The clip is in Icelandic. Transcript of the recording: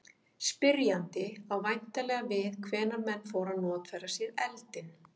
Spyrjandi á væntanlega við hvenær menn fóru að notfæra sér eldinn.